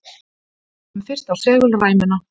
Lítum fyrst á segulræmuna.